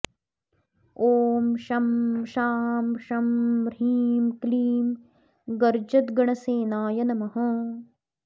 ॐ शं शां षं ह्रीं क्लीं गर्जद्गणसेनाय नमः